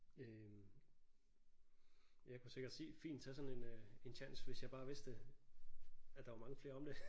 Øh jeg kunne sikkert se fint tage sådan en øh en tjans hvis jeg bare vidste at der var mange flere om det